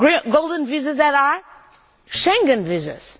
Golden visas that are Schengen visas!